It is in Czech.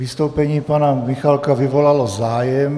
Vystoupení pana Michálka vyvolalo zájem.